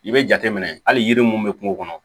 I bɛ jateminɛ hali yiri mun bɛ kungo kɔnɔ